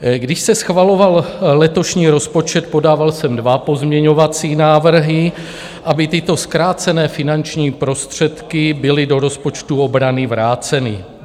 Když se schvaloval letošní rozpočet, podával jsem dva pozměňovací návrhy, aby tyto zkrácené finanční prostředky byly do rozpočtu obrany vráceny.